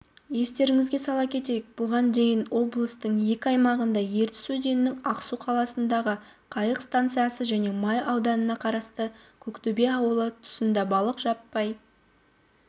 естеріңізге сала кетейік бұған дейін облыстыңекі аймағында ертіс өзенінің ақсу қаласындағы қайық станциясы және май ауданына қарасты көктөбе ауылы тұсындабалық жаппай